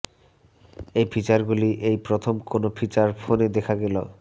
এই ফিচার গুলি এই প্রথম কোন ফিচার ফোনে দেখা গেল